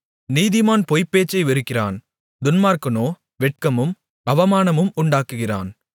நீதிமான் பொய்ப்பேச்சை வெறுக்கிறான் துன்மார்க்கனோ வெட்கமும் அவமானமும் உண்டாக்குகிறான்